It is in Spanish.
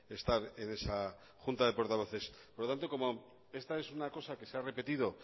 estar en esa junta de portavoces por lo tanto como esta es una cosa que se ha repetido